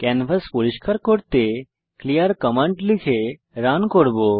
canvas পরিস্কার করতে clear command লিখে রান করব